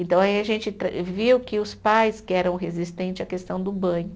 Então, aí a gente tra, viu que os pais que eram resistente à questão do banho.